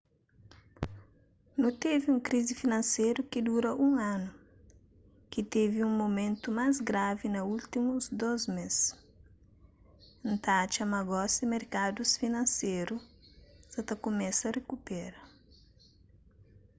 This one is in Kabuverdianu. nu ten un krizi finanseru ki dura un anu ki tevi un mumentu más gravi na últimus dôs mês y n ta atxa ma gosi merkadus finanseru sa ta kumesa rikupera